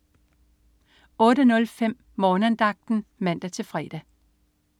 08.05 Morgenandagten (man-fre)